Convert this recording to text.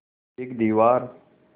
एक दीवार